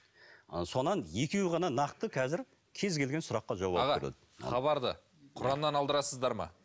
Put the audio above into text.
ы содан екеуі ғана нақты қазір кез келген сұраққа жауап аға хабарды құраннан алдырасыздар ма